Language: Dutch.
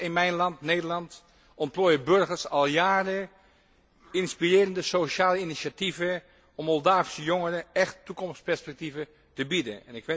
In mijn land Nederland ontplooien burgers al jaren inspirerende sociale initiatieven om Moldavische jongeren echte toekomstperspectieven te bieden.